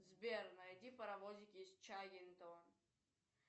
сбер найди паровозики из чаггингтона